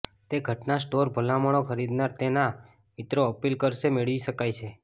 તે ઘટના સ્ટોર ભલામણો ખરીદનાર તેના મિત્રો અપીલ કરશે મેળવી શકાય છે